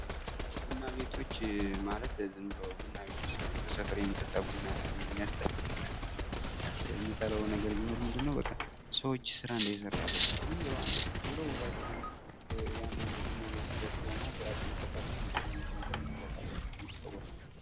ቡና ቤቶች ማለት ዝም ብሎ ቡናቤት ሳይሆን በሰፈር የሚጠጣ ቡና ቤቶች የሚያስጠላኝ እኔ እንጠራው ነገር ምንድነው ሰዎች ስራ እንዳይሰሩ ያደርጋል። ዝም ብለው አንድ ጊዜ ቁጭ ብለው ውሏቸውን ያን አንድ ቡና ይዘው ሲጠጡ በመዋል ስራ ይፈታሉና እንደዛ አይነት ነገር መቅረት አለበት ብዬ እቃወማለሁ።